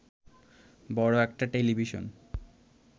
বড় একটা টেলিভিশন